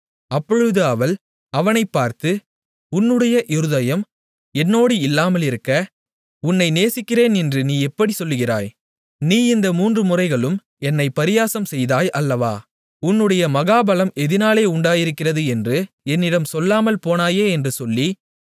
அப்பொழுது அவள் அவனைப் பார்த்து உன்னுடைய இருதயம் என்னோடு இல்லாமலிருக்க உன்னை நேசிக்கிறேன் என்று நீ எப்படிச் சொல்லுகிறாய் நீ இந்த மூன்றுமுறைகளும் என்னைப் பரியாசம் செய்தாய் அல்லவா உன்னுடைய மகாபலம் எதினாலே உண்டாயிருக்கிறது என்று என்னிடம் சொல்லாமல் போனாயே என்று சொல்லி